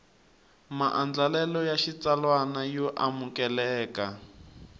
maandlalelo ya xitsalwana yo amukelekaka